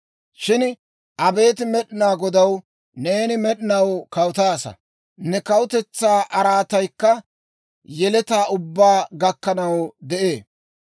Shin abeet Med'inaa Godaw, neeni med'inaw kawutaasa; ne kawutetsaa araataykka yeletaa ubbaa gakkanaw de'ee.